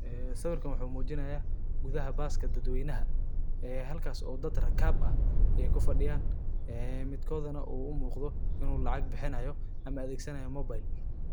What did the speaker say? Siwirkan waxu mujinaya gudaha baaska dad waynaha, aa halka oo dad ragab ah ay ku fadiyan amidkoda u umuqdoh inu lacag bixinayoh ama adag sanayo mobal